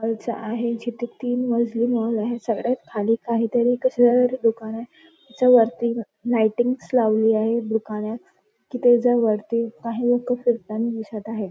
माणस आहे जिथ तीन मजली मॉल आहे खाली काहीतरी कशाच्या तरी दुकान आहे त्याच्या वरती लाईटिंग्स लावली आहे दुकानात त्याच्या वरती काही लोक फिरताना दिसत आहेत.